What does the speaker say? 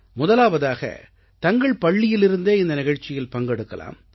முதலாவதாக தங்கள் பள்ளியிலிருந்தே இந்த நிகழ்ச்சியில் பங்கெடுக்கலாம்